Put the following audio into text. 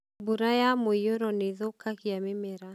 mbura ya mũiyũro nĩ ĩthũkagia mĩmera